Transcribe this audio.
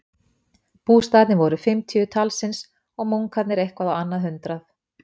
Bústaðirnir voru um fimmtíu talsins og munkarnir eitthvað á annað hundrað.